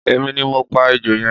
Emi ni mo pa ejò yẹn